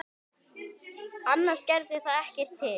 Annars gerði það ekkert til.